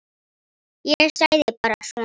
Ég sagði bara svona.